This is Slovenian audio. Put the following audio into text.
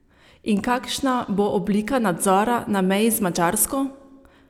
In kakšna bo oblika nadzora na meji z Madžarsko?